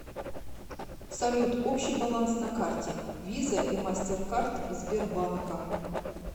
салют общий баланс на карте виза и мастер карт сбербанка